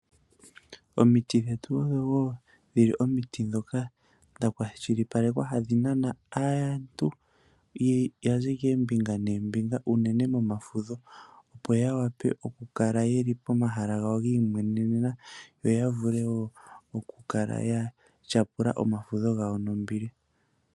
Omiti dhetu odho omiti ndhoka dhakwashilipalekwa hadhi nana aatalelipo tayazi koombinga noombinga unene momafudho, opo yakale pomahala gawo giimwenenena yoya vule okukala yatyapula omafudho gawo nombili.